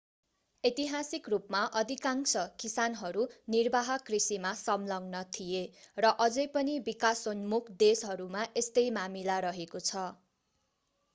ऐतिहासिक रूपमा अधिकांश किसानहरू निर्वाह कृषिमा संलग्न थिए र अझै पनि विकासोन्मुख देशहरूमा यस्तै मामिला रहेको छ